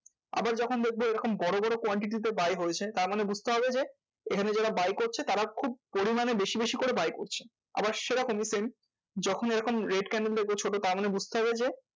আবার যখন দেখবো ওরকম বড় বড় quantity তে buy হয়েছে তারমানে বুঝতে হবে যে, এখানে যারা buy করছে তারা খুব পরিমানে বেশি বেশি করে buy করছে। আবার সেরকমই same যখন এরকম red candle দেখবে ছোট তার মানে বুঝতে হবে যে,